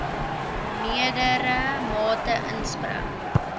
meerdere mate inspring